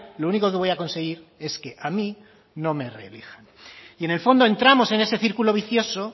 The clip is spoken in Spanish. lo único que voy a conseguir es que a mí no me reelijan y en el fondo entramos en ese círculo vicioso